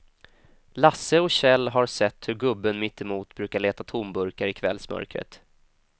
Lasse och Kjell har sett hur gubben mittemot brukar leta tomburkar i kvällsmörkret.